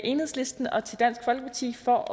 enhedslisten og til dansk folkeparti for